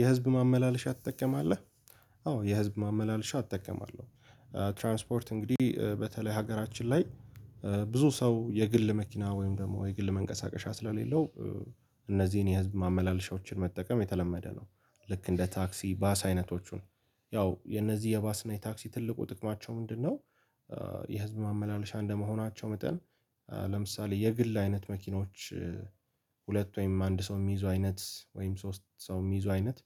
የህዝብ ማመላለሻ ትጠቀማለህ? አዎ የህዝብ ማመላለሻ እጠቀማለሁ ትራንስፖርት እንግዲህ በተለይ ሀገራችን ላይ ብዙ ሰው የግል መኪና ወይም ደግሞ የግል መንቀሳቀሻ ስለሌለው እነዚህን የህዝብ ማመላለሻዎችን መጠቀም የተለመደ ነው። ልክ እንደ ታክሲ ባስ አይነቶቹን ያው የነዚህ የባስ እና የታክሲ ትልቁ ጥቅማቸው ምንድነው? የህዝብ ማመላለሻ እንደመሆናቸው መጠን ለምሳሌ የግል አይነት መኪኖች ሁለት ወይም አንድ ሰው የሚይዙ አይነት ወይም ሶስት ሰው የሚይዙ አይነት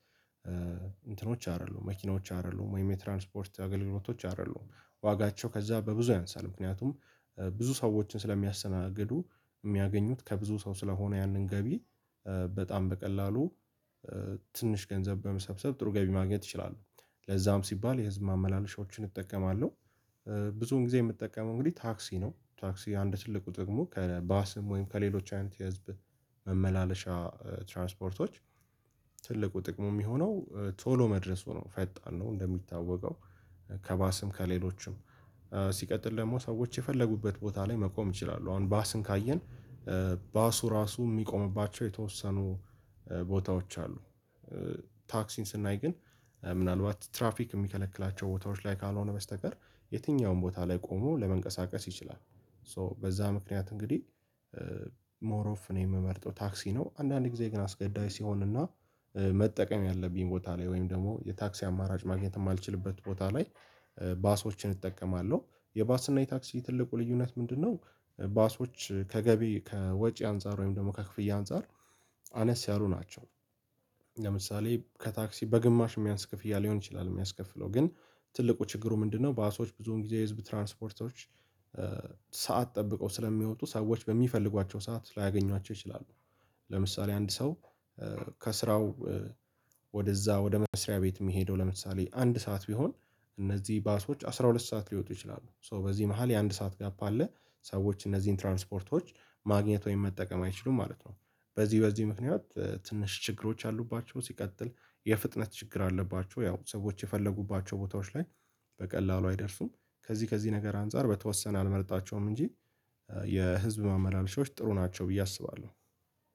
እንትኖች አይደሉም መኪናዎች አይደሉም ወይም የትራንስፖርት አገልግሎቶች አይደሉም ዋጋቸው ከዛ በብዙ አይነሳል ምክንያቱም ብዙ ሰዎችን ስለሚያስተናግዱ የሚያገኙት ከብዙ ሰው ስለሆነ ያንን ገቢ በጣም በቀላሉ ትንሽ ገንዘብ በመሰብሰብ ጥሩ ገቢ ማግኘት ይችላሉ። ለዛም ሲባል የህዝብ ማመላለሻዎችን እጠቀማለሁ። ብዙውን ጊዜ የምጠቀመው እንግዲህ ታክሲ ነው ታክሲ አንድ ትልቁ ጥቅሙ ከባስም ወይም ከሌሎች አይነት የህዝብ መመላለሻ ትራንስፖርቶች። ትልቁ ጥቅሙ የሚሆነው ቶሎ መድረሱ ነው ፈጣን ነው እንደሚታወቀው ከባስም ከሌሎችም ሲቀጥል ደግሞ ሰዎች የፈለጉበት ቦታ ላይ መቆም ይችላሉ አሁን ባስን ካየን ባሱ ራሱ የሚቆምባቸው የተወሰኑ ቦታዎች አሉ። ታክሲን ስናይ ግን ምናልባት ትራፊክ የሚከለክላቸው ቦታዎች ላይ ካልሆነ በስተቀር የትኛውም ቦታ ላይ ቆሞ ለመንቀሳቀስ ይችላል። ሶ በዛ ምክንያት እንግዲህ ሞር ኦፍ እኔ ነው የምመርጠው ታክሲ ነው። አንዳንድ ጊዜ ግን አስገዳጅ ሲሆን እና መጠቀም ያለብኝ ቦታ ላይ ወይም ደግሞ የታክሲ አማራጭ ማግኘት የማልችልበት ቦታ ላይ ባሶችን እጠቀማለሁ። የባስና የታክሲ ትልቁ ልዩነት ምንድነው? ባሶች ከገቢ ከወጪ አንፃር ወይም ደግሞ ከክፍያ አንፃር አነስ ያሉ ናቸው። ለምሳሌ ከታክሲ በግማሽ የሚያንስ ክፍያ ሊሆን ይችላል የሚያስከፍለው ግን ትልቁ ችግሩ ምንድነው? ባሶች ብዙውን ጊዜ የህዝብ ትራንስፖርቶች ሰዓት ጠብቀው ስለሚወጡ ሰዎች በሚፈልጓቸው ሰዓት ላያገኟቸው ይችላሉ። ለምሳሌ አንድ ሰው ከስራው ወደዛ ወደ መስሪያ ቤት የሚሄደው ለምሳሌ አንድ ሰዓት ቢሆን እነዚህ ባሶች አስራ ሁለት ሰዓት ሊወጡ ይችላሉ ሶ በዚህ መሃል የአንድ ሰዓት ጋፕ አለ ሰዎች እነዚህን ትራንስፖርቶች ማግኘት ወይም መጠቀም አይችሉም ማለት ነው። በዚህ በዚህ ምክንያት ትንሽ ችግሮች አሉባቸው ሲቀጥል የፍጥነት ችግር አለባቸው ያው ሰዎች የፈለጉባቸው ቦታዎች ላይ በቀላሉ አይደርሱም። ከዚህ ከዚህ ነገር አንፃር በተወሰነ አልመርጣቸውም እንጂ የህዝብ ማመላለሻዎች ጥሩ ናቸው። ብዬ አስባለሁ።